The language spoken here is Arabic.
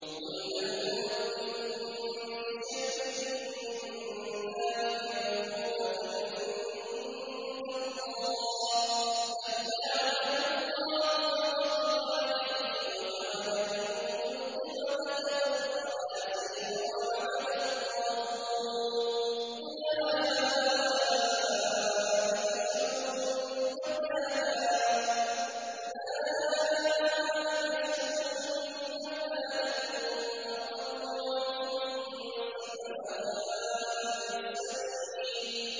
قُلْ هَلْ أُنَبِّئُكُم بِشَرٍّ مِّن ذَٰلِكَ مَثُوبَةً عِندَ اللَّهِ ۚ مَن لَّعَنَهُ اللَّهُ وَغَضِبَ عَلَيْهِ وَجَعَلَ مِنْهُمُ الْقِرَدَةَ وَالْخَنَازِيرَ وَعَبَدَ الطَّاغُوتَ ۚ أُولَٰئِكَ شَرٌّ مَّكَانًا وَأَضَلُّ عَن سَوَاءِ السَّبِيلِ